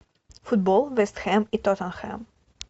футбол вест хэм и тоттенхэм